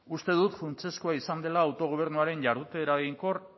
uste dut funtsezkoa izan dela autogobernuaren jardute eraginkor